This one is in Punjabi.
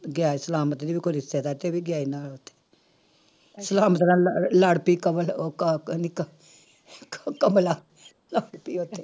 ਗੈਰ ਸਲਾਮਤ ਜਿਹਨੂੰ ਕੋਈ ਰਿਸ਼ਤੇ ਦਾ ਇੱਥੇ ਵੀ ਗਿਆ ਸੀ ਨਾਲ ਸਲਾਮਤ ਨਾਲ ਲ ਲੜ ਪਈ ਕਮਲ ਉਹ ਕ ਨਿੱ ਕਮਲਾ ਲੜ ਪਈ ਉੱਥੇ